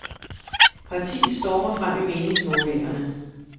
Partiet stormer frem i meningsmålingerne.